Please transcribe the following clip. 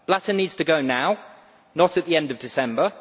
Blatter needs to go now, not at the end of December.